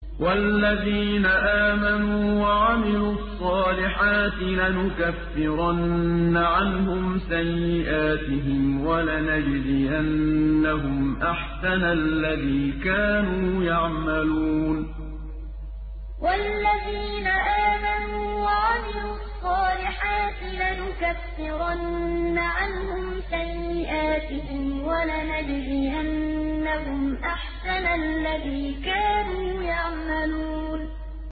وَالَّذِينَ آمَنُوا وَعَمِلُوا الصَّالِحَاتِ لَنُكَفِّرَنَّ عَنْهُمْ سَيِّئَاتِهِمْ وَلَنَجْزِيَنَّهُمْ أَحْسَنَ الَّذِي كَانُوا يَعْمَلُونَ وَالَّذِينَ آمَنُوا وَعَمِلُوا الصَّالِحَاتِ لَنُكَفِّرَنَّ عَنْهُمْ سَيِّئَاتِهِمْ وَلَنَجْزِيَنَّهُمْ أَحْسَنَ الَّذِي كَانُوا يَعْمَلُونَ